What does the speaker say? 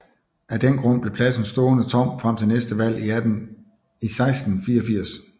Af den grund blev pladsen stående tom frem til næste valg i 1684